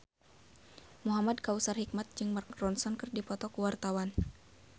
Muhamad Kautsar Hikmat jeung Mark Ronson keur dipoto ku wartawan